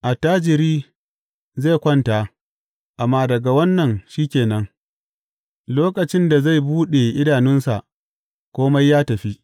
Attajiri zai kwanta, amma daga wannan shi ke nan; lokacin da zai buɗe idanunsa, kome ya tafi.